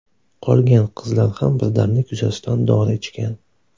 Qolgan qizlar ham birdamlik yuzasidan dori ichgan.